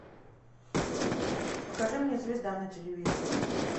покажи мне звезда на телевизоре